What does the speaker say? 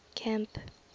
camp